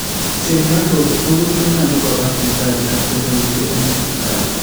Chemyontos tukul konyolu kopa sipitali ak chepoisye en Sipitali